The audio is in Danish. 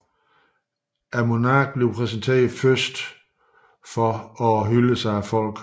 Monarken præsenteres først for og hyldes af folket